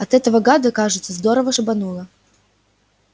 а этого гада кажется здорово шибануло